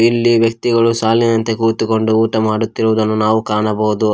ಇಲ್ಲಿ ವ್ಯಕ್ತಿಗಳು ಸಾಲಿನಂತೆ ಕೂತುಕೊಂಡು ಊಟ ಮಾಡುತ್ತಿರುವುದನ್ನು ನಾವು ಕಾಣಬಹುದು.